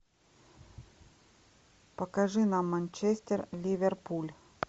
покажи нам манчестер ливерпуль